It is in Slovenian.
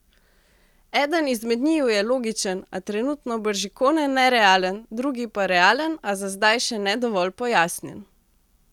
Eden izmed njiju je logičen, a trenutno bržkone nerealen, drugi pa realen, a za zdaj še ne dovolj pojasnjen.